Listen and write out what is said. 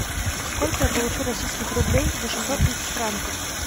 сколько я получу российских рублей за шестьсот тысяч франков